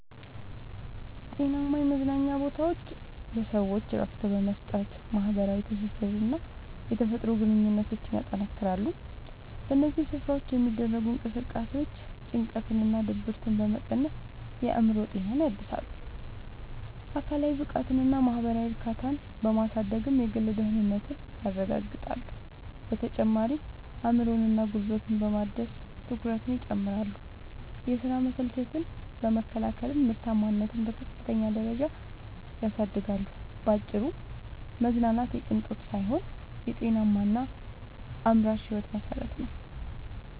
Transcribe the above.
ጤናማ የመዝናኛ ቦታዎች ለሰዎች እረፍት በመስጠት፣ ማኅበራዊ ትስስርንና የተፈጥሮ ግንኙነትን ያጠናክራሉ። በእነዚህ ስፍራዎች የሚደረጉ እንቅስቃሴዎች ጭንቀትንና ድብርትን በመቀነስ የአእምሮ ጤናን ያድሳሉ፤ አካላዊ ብቃትንና ማኅበራዊ እርካታን በማሳደግም የግል ደህንነትን ያረጋግጣሉ። በተጨማሪም አእምሮንና ጉልበትን በማደስ ትኩረትን ይጨምራሉ፤ የሥራ መሰልቸትን በመከላከልም ምርታማነትን በከፍተኛ ደረጃ ያሳድጋሉ። ባጭሩ መዝናናት የቅንጦት ሳይሆን የጤናማና አምራች ሕይወት መሠረት ነው።